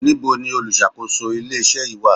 Níbo ni olùṣàkóso ilé iṣẹ́ yìí wà?